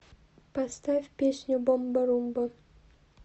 поставь песню бомба румба